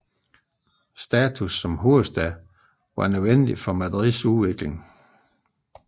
Statussen som hovedstad var afgørende for Madrids udvikling